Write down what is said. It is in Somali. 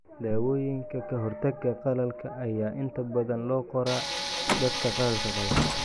Daawooyinka ka hortagga qallalka ayaa inta badan loo qoraa dadka qallalka qaba.